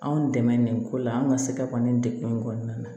Anw dɛmɛ nin ko la an ka se ka ban nin degun in kɔnɔna na